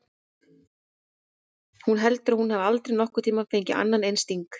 Hún heldur að hún hafi aldrei nokkurn tímann fengið annan eins sting.